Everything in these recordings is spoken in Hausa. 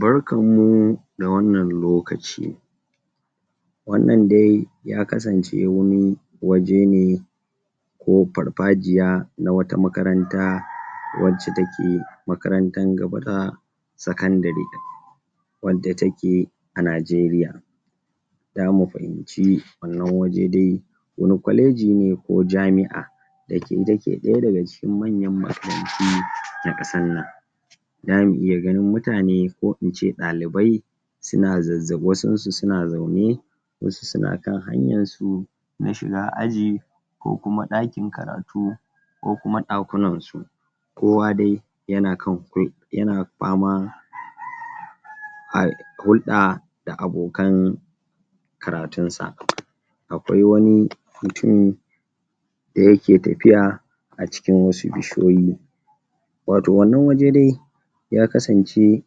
Barkanmu da wannan lokaci wannan dai ya kasance wani waje ne ko farfajiya, na wata makaranta, wacce take makarantan gaba da sakandire wadda take a Najeriya damu fahimci, wannan waje dai wani kwaleji ne ko jami'a dake dake ɗaya daga cikin manyan makaranti na ƙasar nan damu iya ganin mutane ko ince ɗalibai suna zazza, wasunsu suna zaune wasu suna kan hanyansu na shiga aji ko kuma ɗakin karatu ko kuma ɗakunan su kowa dai yana kan? yana fama? hulɗa da abokan karatunsa akwai wani mutumi dayake tafiya a cikin wasu bishiyoyi wato wannan waje dai ya kasance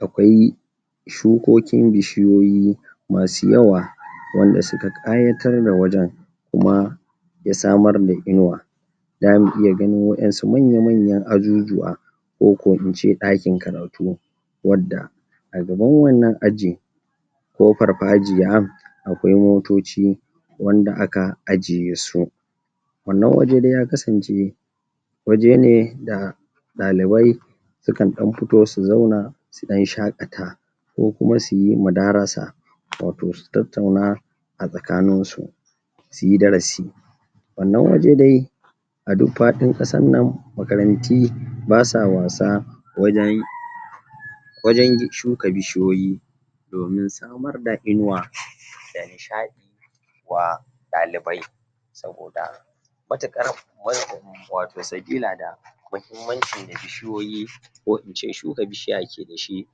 akwai shukokin bishiyoyi masu yawa wanda suka ƙayatar da wajen kuma ya samar da inuwa damu iya ganin waƴansu manya-manyan ajujuwa ko ko ince ɗakin karatu wadda a gaban wannan aji ko farfajiya akwai motoci wanda aka ajiye su wannan waje dai ya kasance waje ne da ɗalibai sukan ɗan fito su zauna su ɗan shaƙata ko kuma suyi madarasa wato su tattauna a tsakaninsu suyi darasi wannan waje dai a duk faɗin ƙasarnan makaranti basa wasa wajen wajen shuka bishiyoyi domin samar da inuwa da nishaɗi wa ɗalibai saboda mutuƙar? wato sabila da mahimmanci da bishiyoyi ko ince shuka bishiya ke dashi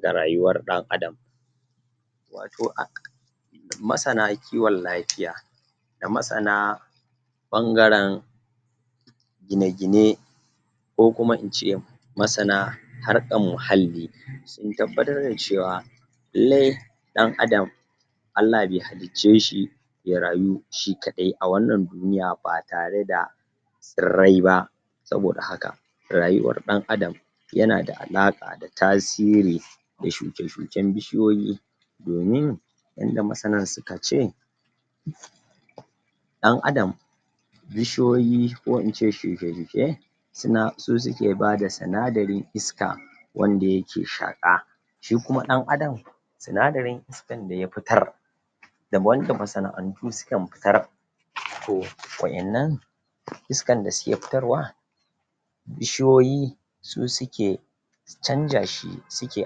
da rayuwar ɗan adam wato a masana kiwon lafiya da masana ɓangaren gine-gine ko kuma ince masana harƙan muhalli sun tabbatar da cewa lallai ɗan adam Allah be halicce shi ya rayu shi kaɗai a wannan duniya batare da tsirrai ba saboda haka rayuwar ɗan adam yanada alaƙa da tasiri da shuke-shuken bishiyoyi domin yanda masana suka ce ɗan adam bishiyoyi ko ince shuke-shuke suna, su suke bada sinadarin iska wanda yake shaƙa shikuma ɗan adam sinadarin iskan daya fitar da wanda masana'antu sukan fitar to waƴannan iskan da suke fitarwa bishiyoyi su suke canja shi, suke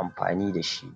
amfani dashi